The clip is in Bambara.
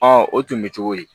o tun bɛ cogo di